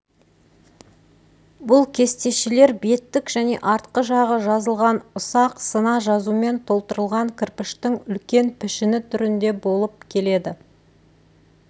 бұл кестешелер беттік және артқы жағы жазылған ұсақ сына жазумен толтырылған кірпіштің үлкен пішіні түрінде болып келеді